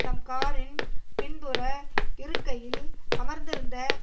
தம் காரின் பின்புற இருக்கையில் அமர்ந்திருந்த